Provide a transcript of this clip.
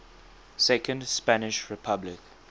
second spanish republic